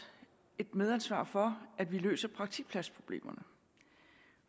et medansvar for at vi løser praktikpladsproblemerne